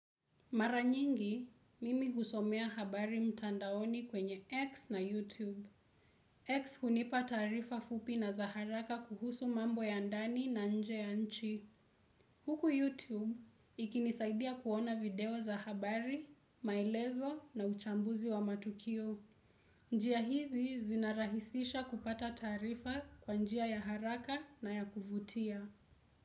Mara nyingi, mimi kusomea habari mtandaoni kwenye X na YouTube. X hunipa taarifa fupi na za haraka kuhusu mambo ya ndani na nje ya nchi. Huku YouTube, ikinisaidia kuona video za habari, maelezo na uchambuzi wa matukio. Njia hizi zinarahisisha kupata tarifa kwa njia ya haraka na ya kuvutia.